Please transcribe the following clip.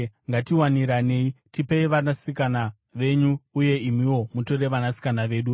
Ngatiwaniranei; tipei vanasikana venyu uye imiwo mutore vanasikana vedu.